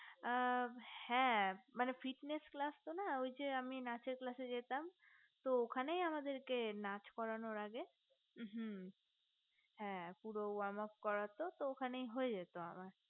আ হে মানে fitness class তো না ওই যে আমি নাচের এ যেতাম তো ওখানেই আমাদের নাচ করানোর আগে হু হে পুরো homework করতো তো ওটাই হয়ে যেত আমার